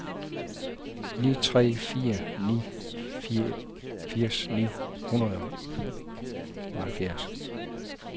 ni tre fire ni firs ni hundrede og halvfjerds